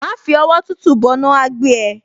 Má fi ọwọ́ tútù bọná, á á gbé ẹ.